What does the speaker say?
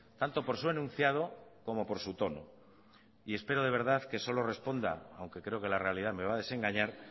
tanto por su enunciado como por su tono y espero de verdad que solo responda aunque creo que la realidad me va a desengañar